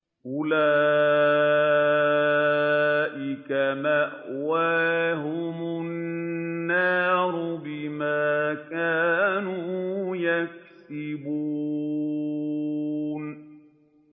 أُولَٰئِكَ مَأْوَاهُمُ النَّارُ بِمَا كَانُوا يَكْسِبُونَ